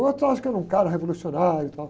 O outro acha que era um cara revolucionário e tal.